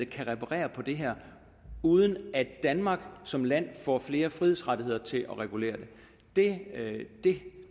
kan reparere på det her uden at danmark som land får flere frihedsrettigheder til at regulere det det